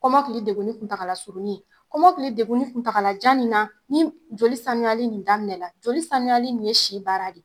Kɔmɔkili dekunni tuntagala surunni ,kɔmɔkili dekunni tuntagala jan min na ni joli sayali nin daminɛna, joli samiyali nin ye si baara de ye.